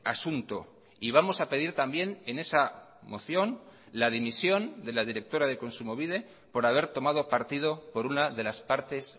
asunto y vamos a pedir también en esa moción la dimisión de la directora de kontsumobide por haber tomado partido por una de las partes